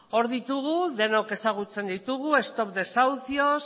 hor ditugu denok ezagutzen ditugu stop desahucios